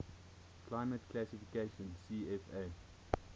climate classification cfa